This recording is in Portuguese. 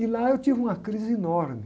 E lá eu tive uma crise enorme.